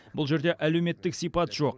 бұл жерде әлеуметтік сипат жоқ